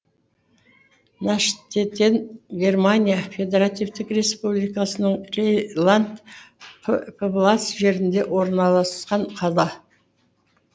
наштеттен германия федеративтік республикасының рейнланд пфальц жерінде орналасқан қала